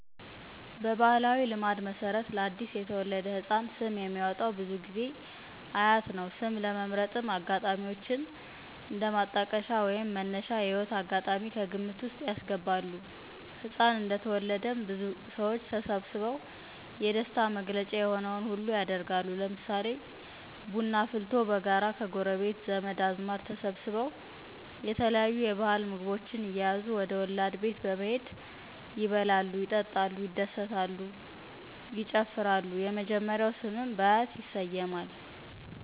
በባሕላዊ ልማድ መሠረት ለ አዲስ የተወለደ ሕፃን ስም የሚያወጣዉ ብዙ ጊዜ አያት ነው። ስም ለመምረጥም አጋጣሚዎችን እንደማጣቀሻ ወይንም መነሻ የህይወት አጋጣሚ. ከግምት ዉስጥ ያስገባሉ። ህፃን እንደተወለደም ብዙ ሰዎች ተሰብስበው የደስታ መገለጫ የሆነውን ሁሉ ያደርጋሉ ለምሳሌ ቡና አፍልቶ በጋራ ከጎረቤት ዘመድ አዝማድ ተሰብስበው የተለየዩ የባህል ምግቦችን እየያዙ ወደ ወለድ ቤት በመሄድ ይበላሉ ይጠጣሉ ይደሰታሉ ይጨፍራሉ የመጀመሪያው ስምም በአያት ይሰየማል።